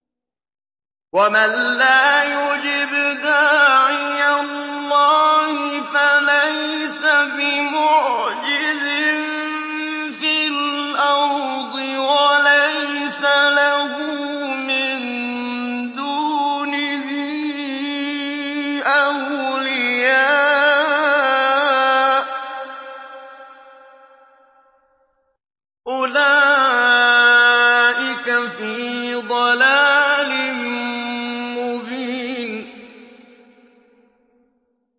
وَمَن لَّا يُجِبْ دَاعِيَ اللَّهِ فَلَيْسَ بِمُعْجِزٍ فِي الْأَرْضِ وَلَيْسَ لَهُ مِن دُونِهِ أَوْلِيَاءُ ۚ أُولَٰئِكَ فِي ضَلَالٍ مُّبِينٍ